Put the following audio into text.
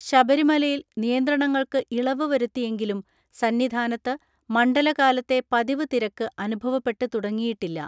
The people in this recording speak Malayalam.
ശബരിമലയിൽ നിയന്ത്രണങ്ങൾക്ക് ഇളവ് വരുത്തിയെങ്കിലും സന്നിധാനത്ത് മണ്ഡലകാലത്തെ പതിവ് തിരക്ക് അനുഭവപ്പെട്ട് തുടങ്ങിയിട്ടില്ല.